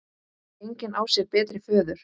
Engin á sér betri föður.